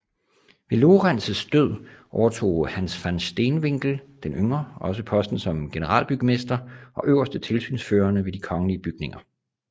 Ved Lorenz død overtog Hans van Steenwinckel den yngre også posten som generalbygmester og øverste tilsynsførende ved de kongelige bygninger